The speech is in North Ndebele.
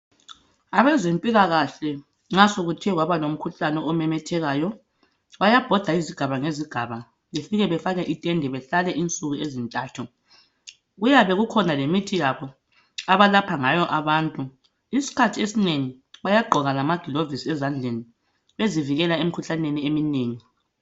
Abezempilakahle nxa sokuthe kwabalomkhuhlane omemethekayo bayabhoda izigaba ngezigaba befike bafake itende behlale isuku ezintathu. Kuyabe kukhona lemithi yabo abalapha ngayo abantu, isikhathi esinengi bayagqoka lamagilovis ezandleni bezivikela emkhuhlaneni eminengi.